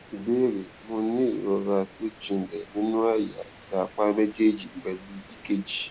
ìbéèrè mo ní ní ìrora tó jinlẹ nínú àyà àti apá méjèèjì pelu ekg